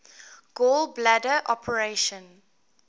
gall bladder operation